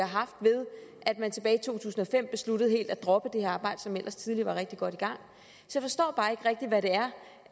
haft ved at man tilbage i to tusind og fem besluttede helt at droppe det her arbejde som ellers tidligere var rigtig godt i gang så